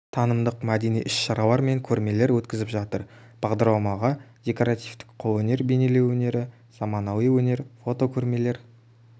танымдық мәдени іс-шаралар мен көрмелер өткізіп жатыр бағдарламаға декоративтік қолөнер бейнелеу өнері заманауи өнер фотокөрмелер